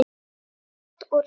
Brot úr sögu